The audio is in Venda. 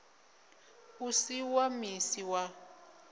u si wa misi wa